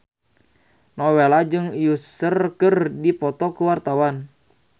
Nowela jeung Usher keur dipoto ku wartawan